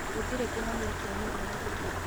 Gũtire kĩhonia kĩa mĩrimü ĩngĩ.